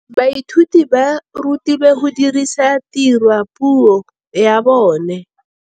Baithuti ba rutilwe go dirisa tirwa mo puong ya bone.